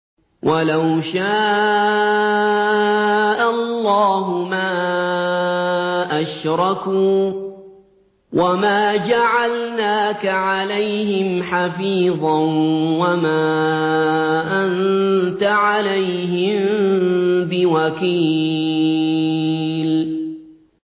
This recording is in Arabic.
وَلَوْ شَاءَ اللَّهُ مَا أَشْرَكُوا ۗ وَمَا جَعَلْنَاكَ عَلَيْهِمْ حَفِيظًا ۖ وَمَا أَنتَ عَلَيْهِم بِوَكِيلٍ